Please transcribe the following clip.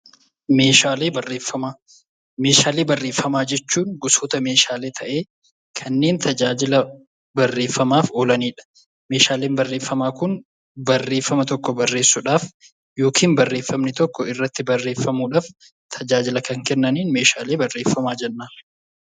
Meeshaalee barreeffamaa jechuun gosoota meeshaalee ta'ee, kanneen tajaajila barreeffamaaf oolanidha. Meeshaaleen barreeffamaa kun barreeffama tokko barreessuudhaaf yookaan irratti barreessuudhaaf tajaajila kennaniin meeshaalee barreeffamaa jenna.